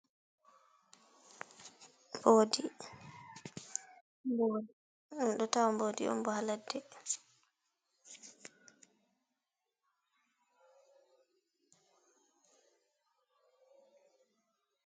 Bodi, endo tawa bodi on bo ha ladde, dum dambawa kalludum ha ladde on.